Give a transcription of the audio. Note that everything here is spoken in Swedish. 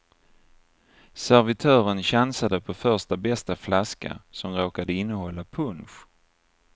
Servitören chansade på första bästa flaska, som råkade innehålla punsch.